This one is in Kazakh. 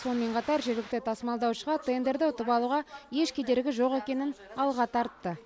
сонымен қатар жергілікті тасымалдаушыға тендерді ұтып алуға еш кедергі жоқ екенін алға тартты